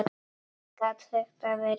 Gat þetta verið satt?